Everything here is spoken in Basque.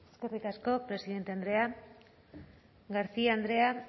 eskerrik asko presidente andrea garcia andrea